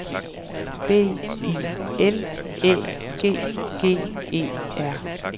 B I L Æ G G E R